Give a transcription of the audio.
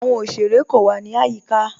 Àwọn ọ̀ṣerẹ̀ kò wà ní ayíká.